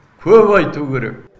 көп айту керек